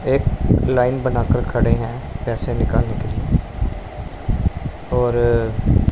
एक लाइन बना कर खड़े हैं पैसे निकालने के लिए और--